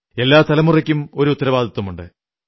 എല്ലാ തലമുറയ്ക്കും ഒരു ഉത്തരവാദിത്വമുണ്ട്